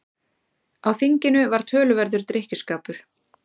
Á þinginu var töluverður drykkjuskapur.